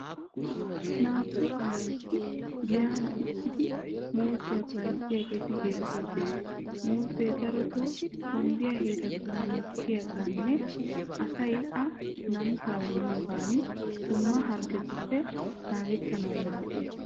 Naa'u aayoti giyan uttidi muuzziya bayzziyageeti beettoosona. Muuzze darotoo hombbiya heeratun mokkiyogaaninne asay a namisawu miyoogan dumma harggetuppe naagettanawu maaddees.